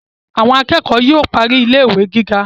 Àwọn akẹ́kọ̀ọ́ yóò parí ilé ìwé gíga